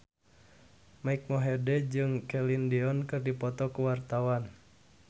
Mike Mohede jeung Celine Dion keur dipoto ku wartawan